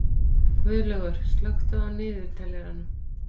Guðlaugur, slökktu á niðurteljaranum.